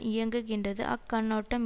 இயங்குகின்றது அக்கண்ணோட்டம்